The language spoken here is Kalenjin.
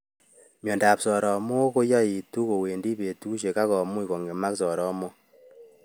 Miondop soromokkoyaitu kowendi petushek akomuch kong'emak soromok